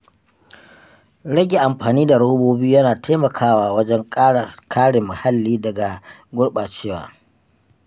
Rage amfani da robobi yana taimakawa wajen kare muhalli daga gurɓacewa.